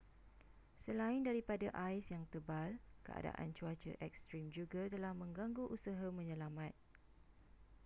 selain daripada ais yang tebal keadaan cuaca ekstrim juga telah menggangu usaha menyelamat